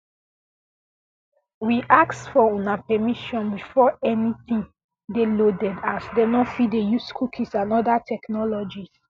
we ask for una permission before before anytin dey loaded as um dem fit dey use cookies and oda technologies